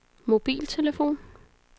mobiltelefon